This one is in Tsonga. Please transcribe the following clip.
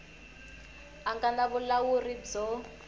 a nga na vulawuri byo